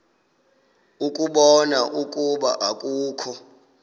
ukubona ukuba akukho